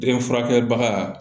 Den furakɛbaga